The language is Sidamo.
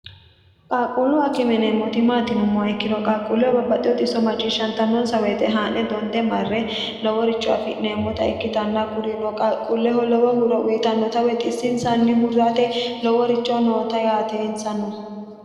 qaaqquullu akime yineemmoti maati yinummoha ikkiro qaaqquulleho babbaxxiteo xisso macciishshantannonsa woyite haa'ne donde marre loworicho afi'neemmota ikkitanna kurino qaaqquulleho lowo huro uyitannota woy xissonsanni hurrate loworicho noota yaate insa no.